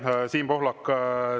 Aitäh, Siim Pohlak!